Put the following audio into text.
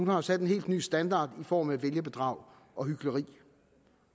har sat en helt ny standard i form af vælgerbedrag og hykleri